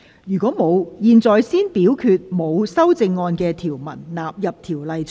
如果沒有，現在先表決沒有修正案的條文納入《條例草案》。